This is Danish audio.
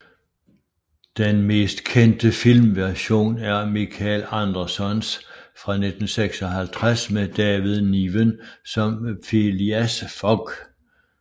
Den mest kendte filmversion er Michael Andersons fra 1956 med David Niven som Phileas Fogg